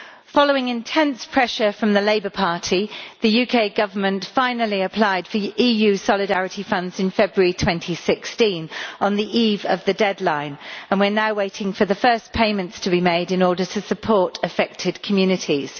Following intense pressure from the Labour Party, the UK Government finally applied for EU solidarity funds in February 2016, on the eve of the deadline, and we are now waiting for the first payments to be made in order to support affected communities.